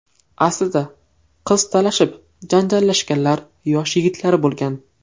Aslida qiz talashib janjallashganlar yosh yigitlar bo‘lgan.